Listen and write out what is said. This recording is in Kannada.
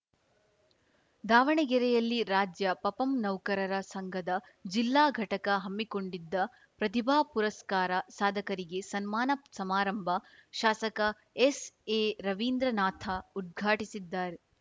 ದಾವಣಗೆರೆಯಲ್ಲಿ ರಾಜ್ಯ ಪಪಂ ನೌಕರರ ಸಂಘದ ಜಿಲ್ಲಾ ಘಟಕ ಹಮ್ಮಿಕೊಂಡಿದ್ದ ಪ್ರತಿಭಾ ಪುರಸ್ಕಾರ ಸಾಧಕರಿಗೆ ಸನ್ಮಾನ ಸಮಾರಂಭ ಶಾಸಕ ಎಸ್‌ಎರವೀಂದ್ರನಾಥ ಉದ್ಘಾಟಿಸಿದ್ದಾ